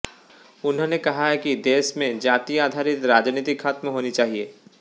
उन्होंने कहा कि देश में जाति आधारित राजनीति खत्म होनी चाहिए